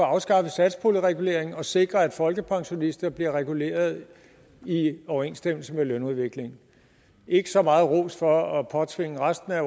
afskaffet satspuljereguleringen og sikret at folkepensionister bliver reguleret i overensstemmelse med lønudviklingen ikke så meget ros for at påtvinge resten af